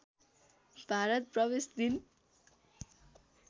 भारत प्रवेश दिन